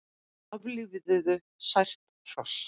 Aflífuðu sært hross